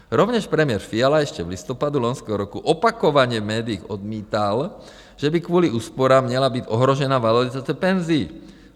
Rovněž premiér Fiala ještě v listopadu loňského roku opakovaně v médiích odmítal, že by kvůli úsporám měla být ohrožena valorizace penzí.